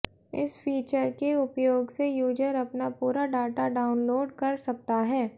इस फीचर के उपयोग से यूजर अपना पूरा डाटा डानलोड कर सकता है